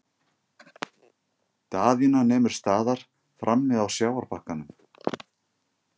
Daðína nemur staðar frammi á sjávarbakkanum.